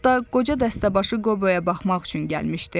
Hətta qoca dəstəbaşı Qoboya baxmaq üçün gəlmişdi.